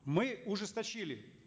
мы ужесточили